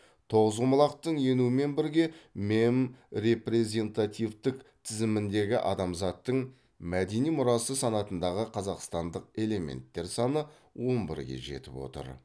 тоғызқұмалақтың енуімен бірге мемм репрезентативтік тізіміндегі адамзаттың мәдени мұрасы санатындағы қазақстандық элементтер саны он бірге жетіп отыр